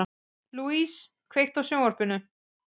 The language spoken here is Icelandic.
Louise, kveiktu á sjónvarpinu.